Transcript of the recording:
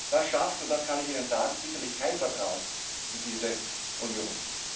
Das schafft und das kann ich Ihnen sagen sicherlich kein Vertrauen in diese Union.